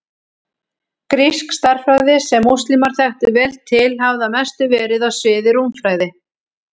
Grísk stærðfræði, sem múslímar þekktu vel til, hafði að mestu verið á sviði rúmfræði.